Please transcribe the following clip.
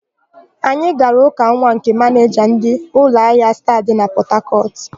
Anyị gara ụka nwa nke manịja ndị ụlọahịa Star dị na Pọtakọtụ.